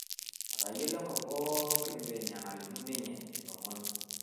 etoyiolo enkop pooki venye nalimu ninye ilomon